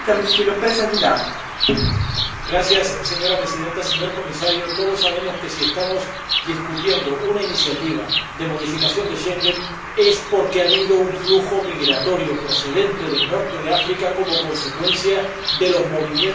Señora Presidenta, señor Comisario, todos sabemos que, si estamos debatiendo una iniciativa de modificación de Schengen, es porque ha habido un flujo migratorio, procedente del norte de África, como consecuencia de los movimientos democráticos que allí han tenido lugar.